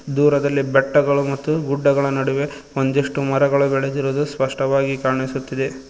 ದೂರದಲ್ಲಿ ಬೆಟ್ಟಗಳು ಮತ್ತು ಗುಡ್ಡಗಳ ನಡುವೆ ಒಂದಿಷ್ಟು ಮರಗಳು ಬೆಳೆದಿರುವುದು ಸ್ಪಷ್ಟವಾಗಿ ಕಾಣಿಸುತ್ತಿದೆ.